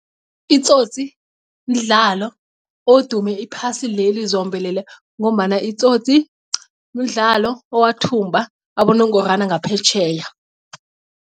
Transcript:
I-Tsotsi mdlalo odume iphasi leli zombelele ngombana i-Tsotsi mdlalo owathumba abonongorwana ngaphetjheya.